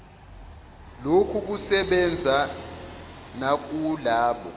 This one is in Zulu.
lokhu kusebenza nakulabo